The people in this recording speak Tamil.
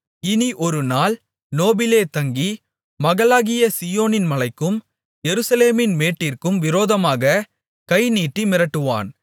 இனி ஒருநாள் நோபிலே தங்கி மகளாகிய சீயோனின் மலைக்கும் எருசலேமின் மேட்டிற்கும் விரோதமாகக் கை நீட்டி மிரட்டுவான்